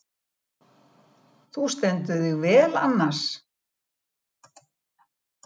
Þú stendur þig vel, Annas!